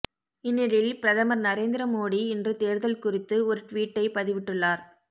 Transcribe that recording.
இந்நிலையில் பிரதமர் நரேந்திர மோடி இன்று தேர்தல் குறித்து ஒரு டுவீட்டை பதிவிட்டுள்ளார்